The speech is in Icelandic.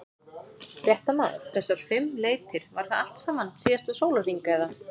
Fréttamaður: Þessar fimm leitir, var það allt saman síðasta sólarhring eða?